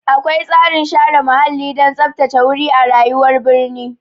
Akwai tsarin share muhalli don tsaftace wuri a rayuwar birni.